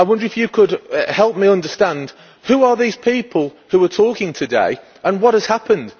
I wonder if you could help me understand who are these people who were talking today, and what has happened?